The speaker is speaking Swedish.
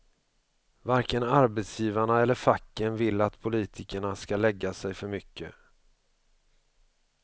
Varken arbetsgivarna eller facken vill att politikerna ska lägga sig för mycket.